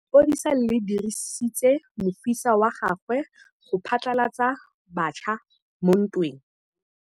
Lepodisa le dirisitse mosifa wa gagwe go phatlalatsa batšha mo ntweng.